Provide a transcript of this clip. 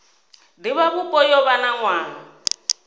divhavhupo yo vha na nwaha